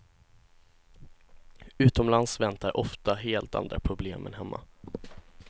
Utomlands väntar ofta helt andra problem än hemma.